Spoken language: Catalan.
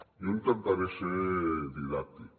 jo intentaré ser didàctic